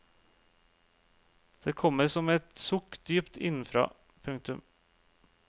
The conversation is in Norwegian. Det kommer som et sukk dypt innenfra. punktum